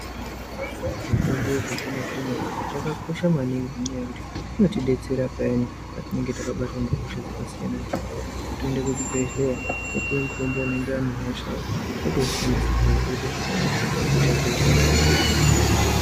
Mitombo yechizvino zvino yakakosha maningi ngenyaya yekuti inotidetsera payani patinenge takabatwa ngehosha dzakasiyana siyana. Kutoende kuchibhehleya wopuwe mutombo unoyenderana nehosha yako wotoushandisa zviro zvotoite zvakanaka, hosha dzohinika.